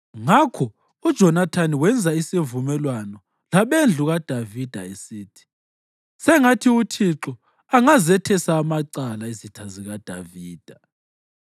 Ngakho uJonathani wenza isivumelwano labendlu kaDavida, esithi, “Sengathi uThixo angazethesa amacala izitha zikaDavida.”